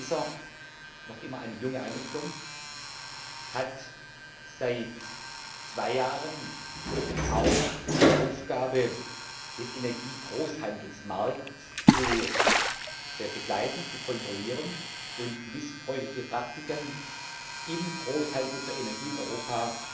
ACER, noch immer eine junge Einrichtung, hat seit zwei Jahren auch die Aufgabe, den Energiegroßhandelsmarkt zu begleiten, zu kontrollieren und missbräuchliche Praktiken im Großhandel für Energie in Europa